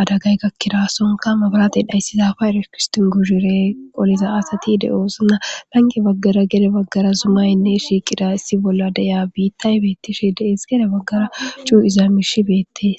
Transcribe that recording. adagay kakkira sonka maburate dhayssiza fa erekiston guzhire qoliza asati de'oosina lange baggara gede baggara zumaynne shiiqira issi bolla deya biittay beettishe dees gede baggara cuu izaamish beettees.